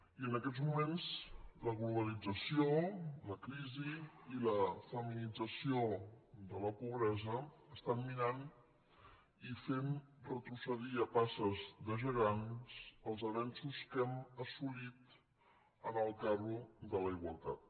i en aquests moments la globalització la crisi i la feminització de la pobresa estan minant i fent retrocedir a passes de gegant els avenços que hem assolit en el carro de la igualtat